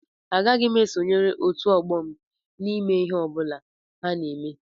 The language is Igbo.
Agaghị m esonyere Otu ọgbọ m n'ihe ọ bụla ha na-eme